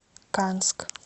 канск